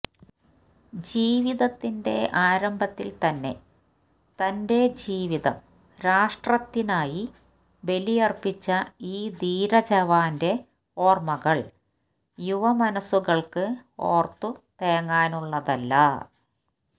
ജീവിതത്തിന്റെ ആരംഭത്തില് തന്നെ തന്റെ ജീവിതം രാഷ്ട്രത്തിനായി ബലിയര്പ്പിച്ച ഈ ധീര ജവാന്റെ ഓര്മ്മകള് യുവമനസുകള്ക്ക് ഓര്ത്തു തേങ്ങാനുള്ളതല്ല